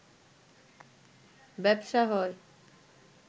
ব্যবসা হয়